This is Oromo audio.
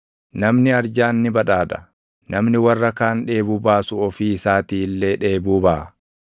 Namni arjaan ni badhaadha; namni warra kaan dheebuu baasu ofii isaatii illee dheebuu baʼa.